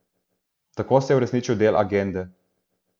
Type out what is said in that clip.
Tako se je uresničil del agende.